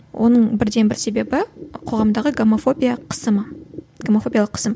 оның бірден бір себебі қоғамдағы гомофобия қысымы гомофобиялық қысым